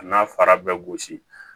A n'a fara bɛɛ gosi